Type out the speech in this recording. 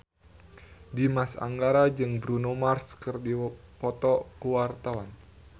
Dimas Anggara jeung Bruno Mars keur dipoto ku wartawan